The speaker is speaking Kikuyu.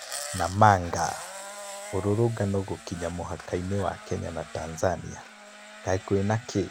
Namanga: Mĩrũrũngano gũkinya mũhaka-inĩ wa Kenya na Tanzania. Kaĩ kwĩna kĩ? .